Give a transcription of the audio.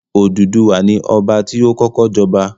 Odùduwà ni Ọba ti ó kọ́kọ́ jọba